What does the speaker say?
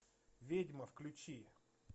ведьма включи